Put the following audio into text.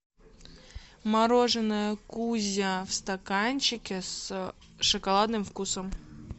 мороженое кузя в стаканчике с шоколадным вкусом